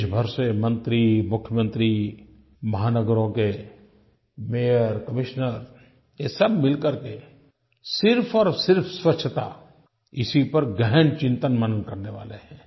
देश भर से मंत्री मुख्यमंत्री महानगरों के मायोर कमिश्नर ये सब मिल करके सिर्फ़ और सिर्फ़ स्वच्छता इसी पर गहन चिंतनमनन करने वाले हैं